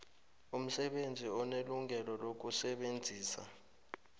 umsebenzi unelungelo lokusebenzisa